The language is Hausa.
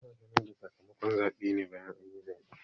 Ana sanar da sakamakon zaɓe ne bayan anyi zaɓe